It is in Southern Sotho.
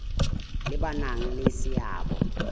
le ba nang le seabo